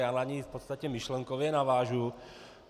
Já na něj v podstatě myšlenkově navážu.